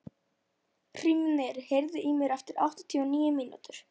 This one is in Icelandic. Hrímnir, heyrðu í mér eftir áttatíu og níu mínútur.